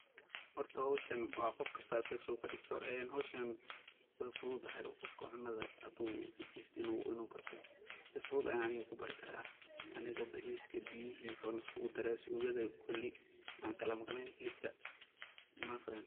Hoorta hooshan wa Qoofkasta asaka sethu kadegtoh, een hooshan way fuuthutahay Qoofka uu cuntaha handu u jeestoh inu bartoh si futhut Aya Ani kubarikarah, aniko bariska beeyahi iskugu daray suugatha setha kuli maxa Kali meeqnen helibka mafahant.